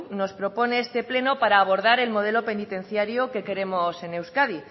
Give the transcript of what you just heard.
nos propone este pleno para abordar el modelo penitenciario que queremos en euskadi